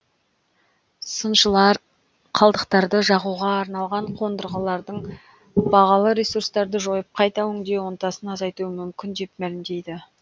сыншылар қалдықтарды жағуға арналған қондырғылардың бағалы ресурстарды жойып қайта өңдеу ынтасын азайтуы мүмкін деп мәлімдейді